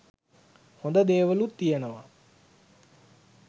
හොඳ දේවලුත් තියනවා